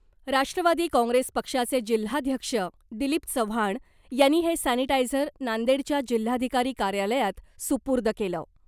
राष्ट्रवादी काँग्रेस पक्षाचे जिल्हाध्यक्ष दिलीप चव्हाण यांनी हे सॅनिटायझर नांदेडच्या जिल्हाधिकारी कार्यालयात सुपूर्द केलं .